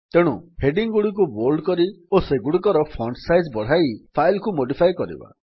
ତେଣୁ ହେଡିଙ୍ଗ୍ ଗୁଡ଼ିକୁ ବୋଲ୍ଡ କରି ଓ ସେଗୁଡ଼ିକର ଫଣ୍ଟ ସାଇଜ୍ ବଢ଼ାଇ ଫାଇଲ୍ କୁ ମୋଡିଫାଏ କରିବା